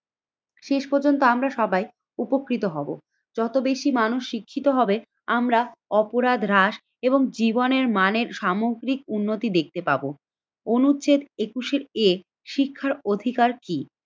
শেষ পর্যন্ত আমরা সবাই উপকৃত হব যত বেশি মানুষ শিক্ষিত হবে আমরা অপরাধ হ্রাস এবং জীবনের মানে সামগ্রিক উন্নতি দেখতে পাবো। অনুচ্ছেদ একুশের এ শিক্ষার অধিকার কি?